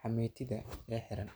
xameetida ee xiran.